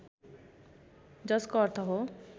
जसको अर्थ हो